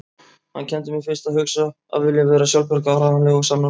Hann kenndi mér fyrst að hugsa, að vilja vera sjálfbjarga, áreiðanleg og sannorð.